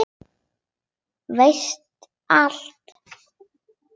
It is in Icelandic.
Veist allt.